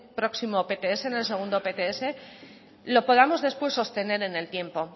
próximo pts en el segundo pts lo podamos después sostener en el tiempo